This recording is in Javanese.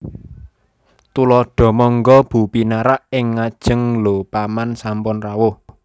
Tuladha Mangga Bu pinarak ing ngajeng Lho Paman sampun rawuh